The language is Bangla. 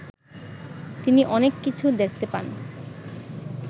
তিনি অনেক কিছু দেখতে পান